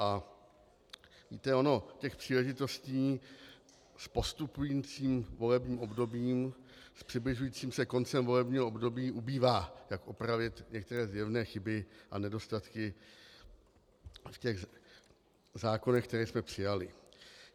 A víte, ono těch příležitostí s postupujícím volebním obdobím, s přibližujícím se koncem volebního období ubývá, jak opravit některé zjevné chyby a nedostatky v těch zákonech, které jsme přijali.